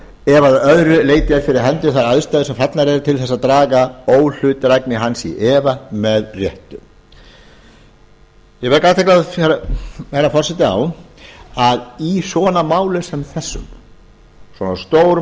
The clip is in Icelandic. ef að öðru leyti eru fyrir hendi þær aðstæður sem eru fallnar til þess að draga óhlutdrægni hans í efa með réttu ég vek athygli herra forseta á að í svona málum sem þessum svona